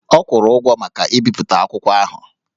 Ọ kwụrụ ụgwọ maka ibipụta akwụkwọ ahụ